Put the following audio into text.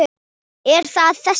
Er það þessi bær?